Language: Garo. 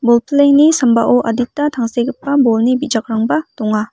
bolplengni sambao adita tangsekgipa bolni bijakrangba donga.